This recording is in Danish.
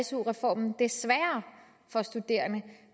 su reformen det sværere for studerende